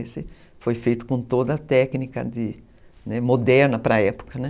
Esse foi feito com toda a técnica moderna para a época, né.